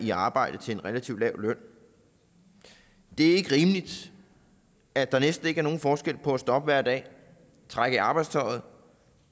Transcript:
i arbejde til en relativt lav løn det er ikke rimeligt at der næsten ikke er nogen forskel på at stå op hver dag trække i arbejdstøjet og